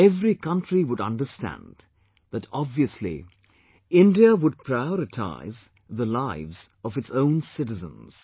Every country would understand that obviously India would prioritise the lives of its own citizens